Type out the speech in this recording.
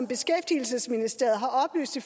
beskæftigelsesministeriet har oplyst i